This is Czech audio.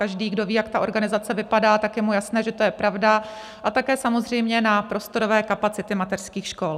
Každý, kdo ví, jak ta organizace vypadá, tak je mu jasné, že to je pravda, a také samozřejmě na prostorové kapacity mateřských škol.